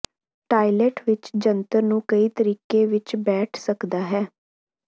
toilet ਵਿਚ ਜੰਤਰ ਨੂੰ ਕਈ ਤਰੀਕੇ ਵਿੱਚ ਬੈਠ ਸਕਦਾ ਹੈ